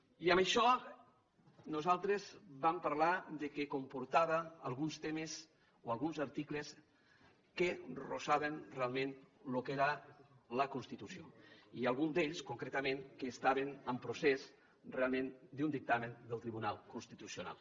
i amb això nosaltres vam parlar que comportava alguns temes o alguns articles que vorejaven realment el que era la constitució i alguns d’ells concretament que estaven en procés realment d’un dictamen del tribunal constitucional